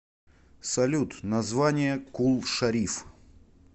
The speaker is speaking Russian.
салют название кул шариф